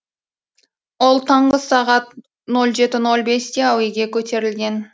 ол таңғы сағат ноль жеті ноль бесте әуеге көтерілген